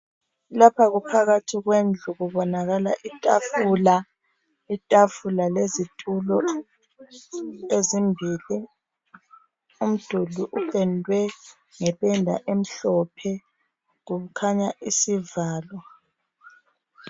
Lapha kuphakathi kwendlu kubonakala itafula. Itafula lezitulo ezimbili. Umduli upendwe ngependa emhlophe. Kukhanya isivalo.